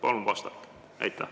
Palun vastake!